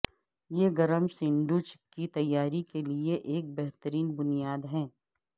یہ گرم سینڈوچ کی تیاری کے لئے ایک بہترین بنیاد ہے